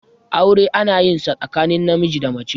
aure ana yin sa tsakanin namiji da mace